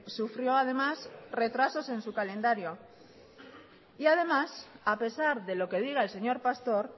sufrió además retrasos en su calendario y además a pesar de lo que diga el señor pastor